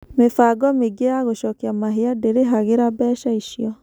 Mĩbango mĩingĩ ya gũcokia mahia ndĩrĩhagĩra mbeca icio.